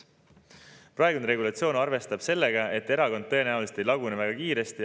Praegune regulatsioon arvestab sellega, et erakond tõenäoliselt ei lagune väga kiiresti.